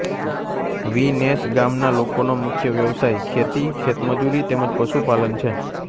વી નેસ ગામના લોકોનો મુખ્ય વ્યવસાય ખેતી ખેતમજૂરી તેમ જ પશુપાલન છે